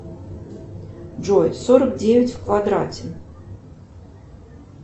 джой сорок девять в квадрате